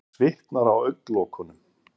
Hann svitnar á augnalokunum.